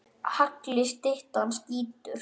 Hagli skyttan skýtur.